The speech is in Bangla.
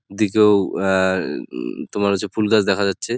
দিকেও আহ-হ-হ তোমার হচ্ছে ফুল গাছ দেখা যাচ্ছে ।